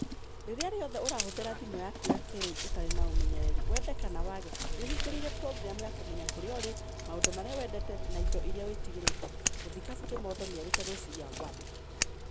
"Rĩrĩa rĩothe ũrahũthĩra thimũ yaku ya kiriu, ũtarĩ na ũmenyereri, wende kana wage, nĩuhingũrĩire program ya kũmenya kũrĩa ũrĩ, maũndũ marĩa wendete, na indo irĩa wĩtigĩrĩte", mũthikabu Kimondo nĩerite Rossiya 1.